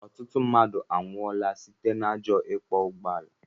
Ọtụtụ ndị mmadụ anwụọla site na ajọ ikwo ụgbọala